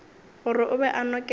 gore o be a nokela